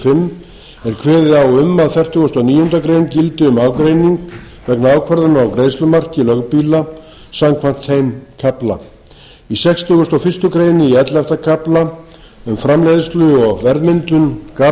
er kveðið á um að fertugasta og níundu grein gildi um ágreining vegna ákvarðana á greiðslumarki lögbýla samkvæmt þeim kafla í sextugasta og fyrstu grein í ellefta kafla um framleiðslu og verðmyndun garð